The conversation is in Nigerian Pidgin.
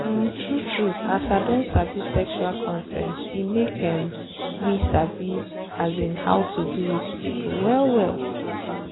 um true true as i don sabi sexual consent e make um me sabi um how to do with people well well.